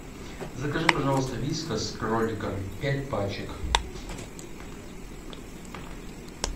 закажи пожалуйста вискас с кроликом пять пачек